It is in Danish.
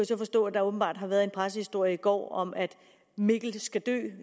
så forstå at der åbenbart har været en pressehistorie i går om at mikkel han skal dø